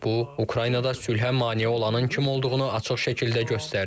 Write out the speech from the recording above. Bu Ukraynada sülhə mane olanın kim olduğunu açıq şəkildə göstərdi.